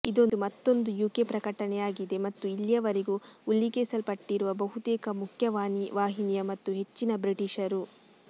ಇದು ಮತ್ತೊಂದು ಯುಕೆ ಪ್ರಕಟಣೆಯಾಗಿದೆ ಮತ್ತು ಇಲ್ಲಿಯವರೆಗೂ ಉಲ್ಲೇಖಿಸಲ್ಪಟ್ಟಿರುವ ಬಹುತೇಕ ಮುಖ್ಯವಾಹಿನಿಯ ಮತ್ತು ಹೆಚ್ಚಿನ ಬ್ರಿಟೀಷರು